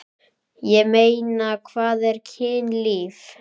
Ég meina, hvað er kynlíf?